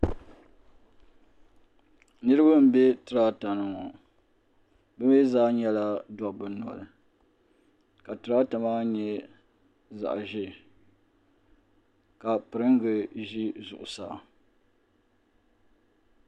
Niriba m be tirata ni ŋɔ bɛ mer zaa nyɛla dabba noli ka tirata maa nyɛ zaɣa ʒee ka piringa ʒi zuɣusaa.